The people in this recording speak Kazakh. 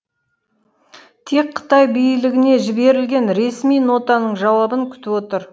тек қытай билігіне жіберілген ресми нотаның жауабын күтіп отыр